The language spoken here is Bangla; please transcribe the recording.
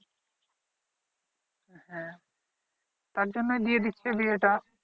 হ্যা তারজন্যই দিয়ে দিচ্ছে বিয়েটা